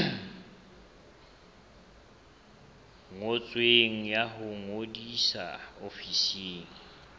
ngotsweng ya ho ngodisa ofising